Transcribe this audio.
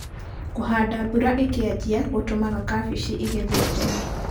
Kũhanda mbura ĩkĩajia gũtũmaga kabeci ĩgethwo tene.